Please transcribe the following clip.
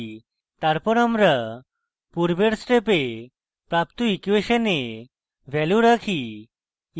তারপর আমরা পূর্বের step প্রাপ্ত ইকুয়়েসনে ভ্যালু রাখি